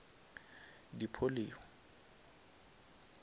di polio